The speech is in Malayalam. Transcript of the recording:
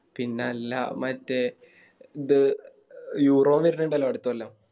പിന്നല്ല മറ്റേ ദേ Euro വരുണുണ്ടല്ലോ അടുത്ത കൊല്ലം